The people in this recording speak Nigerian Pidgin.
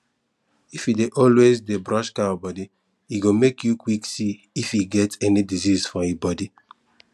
if you dey always dey brush cow body e go make you quick see if e get any disease for e body